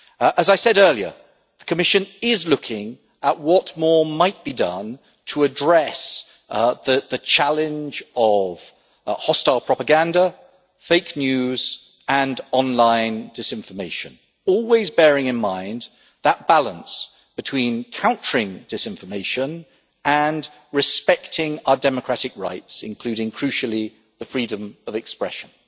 As I said earlier, the Commission is looking at what more might be done to address the challenge of hostile propaganda, fake news and online disinformation, always bearing in mind that balance between countering disinformation and respecting our democratic rights including crucially freedom of expression.